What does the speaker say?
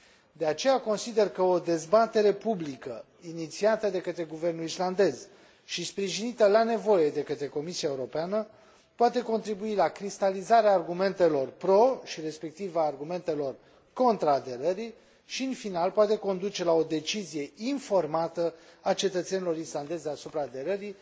De aceea, consider că o dezbatere publică inițiată de către guvernul islandez și sprijinită, la nevoie, de către Comisia Europeană poate contribui la cristalizarea argumentelor pro și, respectiv, a argumentelor contra aderării și, în final, poate conduce la o decizie informată a cetățenilor islandezi asupra aderării.